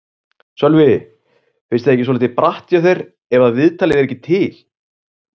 Sölvi: Finnst þér það ekki svolítið bratt hjá þér ef að viðtalið er ekki til?